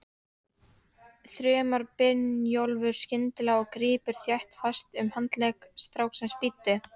þrumar Brynjólfur skyndilega og grípur þéttingsfast um handlegg stráksins, bíddu!